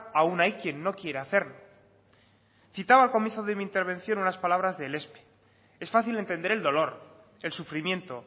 aún hay quien no quiera hacerlo citaba al comienzo de mi intervención unas palabras de elespe es fácil entender el dolor el sufrimiento